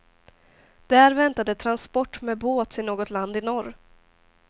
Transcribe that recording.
Där väntade transport med båt till något land i norr.